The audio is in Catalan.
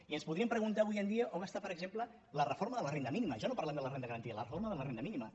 i ens podríem preguntar avui en dia on està per exemple la reforma de la renda mínima ja no parlem de la renda garantida la reforma de la renda mínima